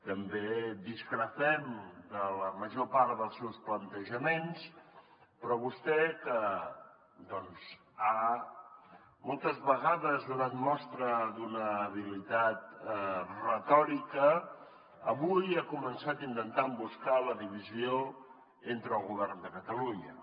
també discrepem de la major part dels seus plantejaments però vostè que moltes vegades ha donat mostra d’una habilitat retòrica avui ha començat intentant buscar la divisió entre el govern de catalunya